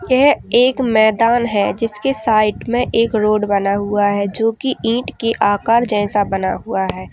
यह एक मैदान है। जिसके साईट में एक रोड बना हुआ है जो को ईट की आकर जैसा बना हुआ है।